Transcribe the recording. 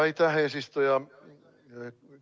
Aitäh, eesistuja!